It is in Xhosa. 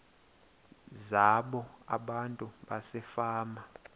zabo abantu basefama